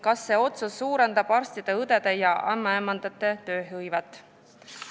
Kas see otsus suurendab arstide, õdede ja ämmaemandate tööhõivet?